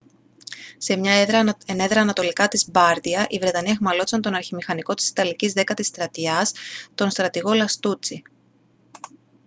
σε μια ενέδρα ανατολικά της μπάρντια οι βρετανοί αιχμαλώτισαν τον αρχιμηχανικό της ιταλικής δέκατης στρατιάς τον στρατηγό λαστούτσι